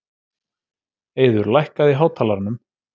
Eiður, lækkaðu í hátalaranum.